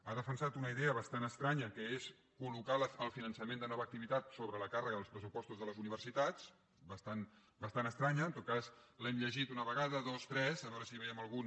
ha defensat una idea bastant estranya que és col·el finançament de nova activitat sobre la càrrega dels pressupostos de les universitats bastant estranya en tot cas l’hem llegit una vegada dos tres a veure si vèiem algun